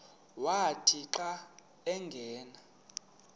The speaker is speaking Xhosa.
wathi xa angena